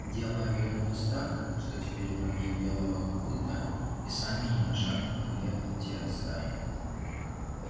дело обернулось так что теперь враги белого клыка и сами ни на шаг не могли отойти от стаи